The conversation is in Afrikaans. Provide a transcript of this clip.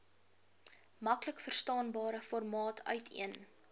maklikverstaanbare formaat uiteen